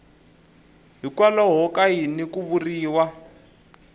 hikwalaho ka yini ku vuriwa